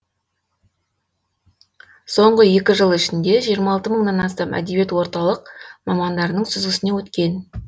соңғы екі жыл ішінде жиырма алты мыңнан астам әдебиет орталық мамандарының сүзгісінен өткен